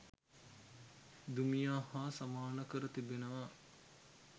දුමියා හා සමාන කර තිබෙනවා